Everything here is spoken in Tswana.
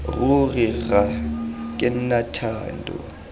ruri rra ke nna thando